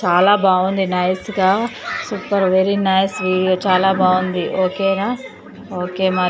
చాలా బాగుంది నైస్ గా సూపర్ వెరీ నైస్ వీడియో చాలా బాగుంది ఓకేనా ఓకే మరి.